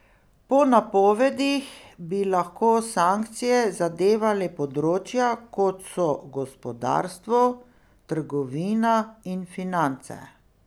Po napovedih bi lahko sankcije zadevale področja, kot so gospodarstvo, trgovina in finance.